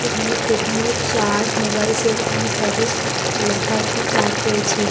এখানে techno chart mobile cell and service লেখা একটি চার্ট রয়েছে।